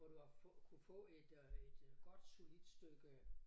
Hvor du har få kunnet få et øh et øh godt solidt stykke